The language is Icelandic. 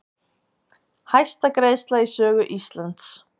Hæsta greiðsla í sögu Íslands